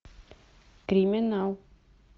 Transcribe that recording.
криминал